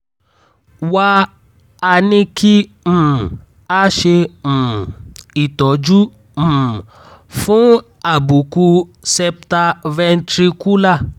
wá a ní kí um a ṣe um ìtọ́jú um fún àbùkù septal ventricular